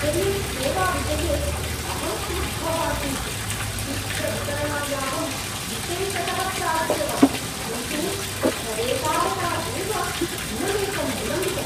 कोरियर्सेवाविषये अहं क्रुद्धः अस्मि। शीघ्रवितरणायाहं विशेषतः प्रार्थितवान्, किन्तु तदेतावता एव दिनमेकं विलम्बितम्।